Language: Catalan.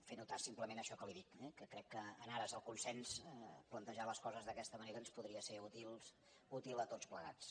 fer notar simplement això que li dic que crec que en ares del consens plantejar les coses d’aquesta manera ens podria ser útil a tots plegats